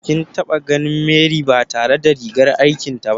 Kin taɓa ganin Mary ba tare da rigar aikin ta ba?